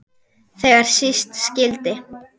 Þegar síst skyldi.